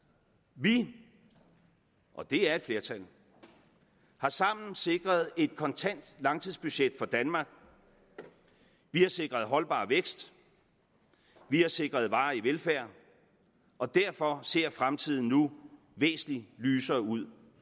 vi og det er et flertal har sammen sikret et kontant langtidsbudget for danmark vi har sikret holdbar vækst vi har sikret varig velfærd og derfor ser fremtiden nu væsentlig lysere ud